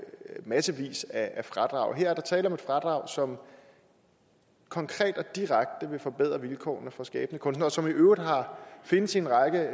massevis af fradrag og her er der tale om et fradrag som konkret og direkte vil forbedre vilkårene for skabende kunstnere og som i øvrigt findes i en række